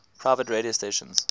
private radio stations